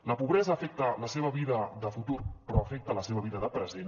la pobresa afecta la seva vida de futur però afecta la seva vida de present